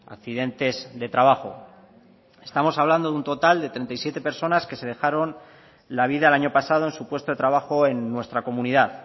accidentes de trabajo estamos hablando de un total de treinta y siete personas que se dejaron la vida el año pasado en su puesto de trabajo en nuestra comunidad